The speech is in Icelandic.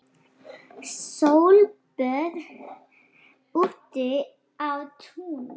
Sólböð úti á túni.